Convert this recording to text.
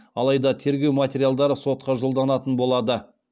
алайда тергеу материалдары сотқа жолданатын болады